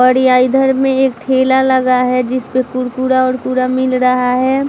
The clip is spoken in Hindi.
और इधर में एक ठेला लगा है जिसपे कुरकुरा उरकुरा मिल रहा है |